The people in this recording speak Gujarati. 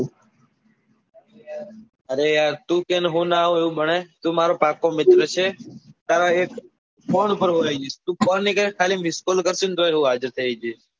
અરે યાર તું કે ને હું નાં આવું એવું બને તું મારો પાક્કો મિત્ર છે તારા એક ફોન ઉપર હું આયી જઈસ તું ફોન ની કરે ને એક missed call કરે તોય હું આવી જઈસ.